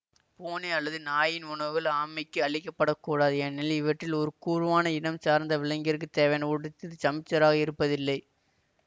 பூனை அல்லது நாயின் உணவுகள் ஆமைக்கு அளிக்கப்படக்கூடாது ஏனெனில் இவற்றில் ஒரு கூரவான இனம் சார்ந்த விலங்கிற்குத் தேவையான ஊட்ட சத்து சமச்சீராக இருப்பதில்லை